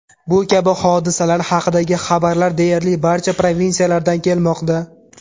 Bu kabi hodisalar haqidagi xabarlar deyarli barcha provinsiyalardan kelmoqda.